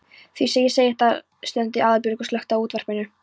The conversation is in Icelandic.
Því segi ég það. stundi Aðalbjörg og slökkti á útvarpinu.